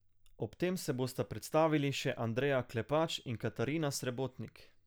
Ob tem se bosta predstavili še Andreja Klepač in Katarina Srebotnik.